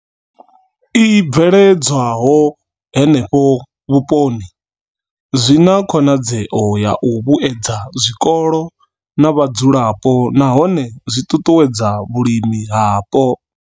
I bveledzwaho henefho vhuponi zwi na khonadzeo ya u vhuedza zwikolo na vhadzulapo nahone zwi ṱuṱuwedza vhulimi hapo.